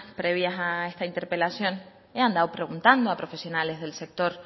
previas a esta interpelación he andado preguntando a profesionales del sector